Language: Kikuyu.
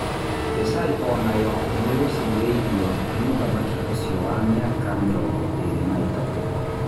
Rĩ caũ onayo nĩ gucĩ rĩ irio nĩ mũthaki ũcio wa mĩ aka mĩ rongo ĩ rĩ na ĩ tatũ.